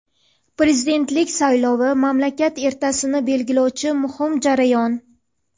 Prezidentlik saylovi – mamlakat ertasini belgilovchi muhim jarayon.